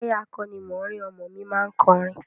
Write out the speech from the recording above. Táyà akọ́nimọ̀ọ́rìn ọmọ mi má ń kọrin